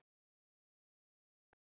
Held um hana.